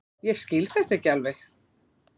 Ég skil þetta ekki alveg.